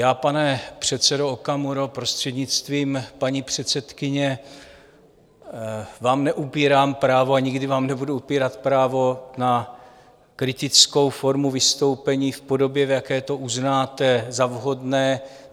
Já, pane předsedo Okamuro, prostřednictvím paní předsedkyně, vám neupírám právo a nikdy vám nebudu upírat právo na kritickou formu vystoupení v podobě, v jaké to uznáte za vhodné.